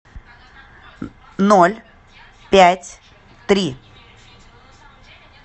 ноль пять три